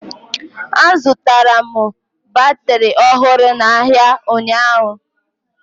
Azụtara m batịrị ọhụrụ n'ahịa ụnyaahụ